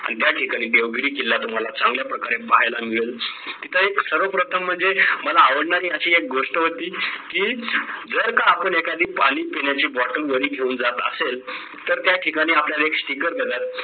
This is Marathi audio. आणि त्या ठिकाणी देवगिरी किल्ला तुम्हाला चांगल्या प्रकारे पाहायला मिळेल तिथं एक सर्व प्रथम म्हणजे मला आवडणारी अशी एक गोष्ट होती ती जर का आपण एकादी पाणी पिण्याच bottle वरी घेऊन जात असेल तर त्या ठिकाणी आपल्याला एक sticker देतात